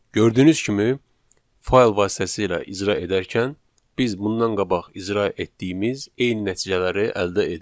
Gördüyünüz kimi fayl vasitəsilə icra edərkən biz bundan qabaq icra etdiyimiz eyni nəticələri əldə edirik.